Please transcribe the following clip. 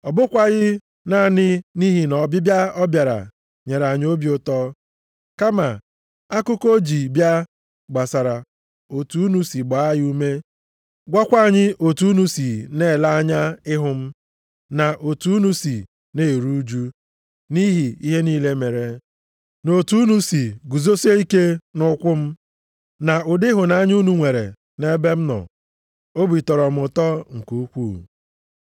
Ọ bụkwaghị naanị nʼihi na ọbịbịa ọ bịara nyere anyị obi ụtọ, kama akụkọ o ji bịa, gbasara otu unu si gbaa ya ume, gwakwa anyị otu unu si na-ele anya ịhụ m, na otu unu si na-eru ụjụ nʼihi ihe niile mere, na otu unu si guzosie ike nʼukwu m, na ụdị ịhụnanya unu nwere nʼebe m nọ, obi tọrọ m ụtọ nke ukwuu.